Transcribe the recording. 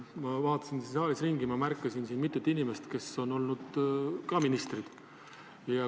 Ma vaatasin siin saalis ringi ja märkasin siin mitut inimest, kes on samuti olnud ministrid.